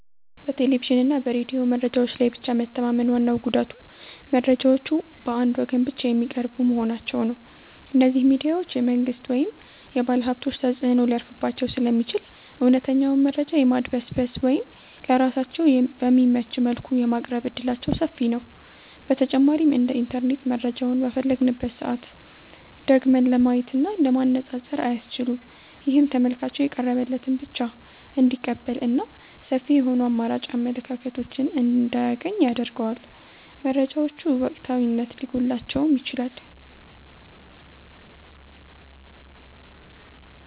በቴሌቪዥንና በሬዲዮ መረጃዎች ላይ ብቻ መተማመን ዋናው ጉዳቱ መረጃዎቹ በአንድ ወገን ብቻ የሚቀርቡ መሆናቸው ነው። እነዚህ ሚዲያዎች የመንግሥት ወይም የባለሀብቶች ተጽዕኖ ሊያርፍባቸው ስለሚችል፣ እውነተኛውን መረጃ የማድበስበስ ወይም ለራሳቸው በሚመች መልኩ የማቅረብ ዕድላቸው ሰፊ ነው። በተጨማሪም እንደ ኢንተርኔት መረጃውን በፈለግንበት ሰዓት ደግመን ለማየትና ለማነፃፀር አያስችሉም። ይህም ተመልካቹ የቀረበለትን ብቻ እንዲቀበልና ሰፊ የሆኑ አማራጭ አመለካከቶችን እንዳያገኝ ያደርገዋል። መረጃዎቹ ወቅታዊነት ሊጎድላቸውም ይችላል።